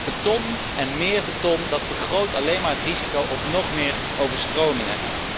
Beton en meer beton vergroot alleen maar het risico op nog meer overstromingen.